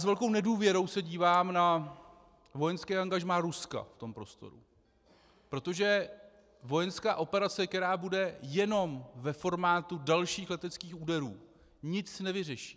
S velkou nedůvěrou se dívám na vojenské angažmá Ruska v tom prostoru, protože vojenská operace, která bude jenom ve formátu dalších leteckých úderů, nic nevyřeší.